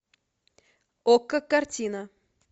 окко картина